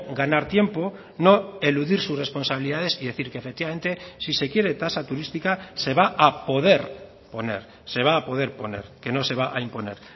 ganar tiempo no eludir sus responsabilidades y decir que efectivamente si se quiere tasa turística se va a poder poner se va a poder poner que no se va a imponer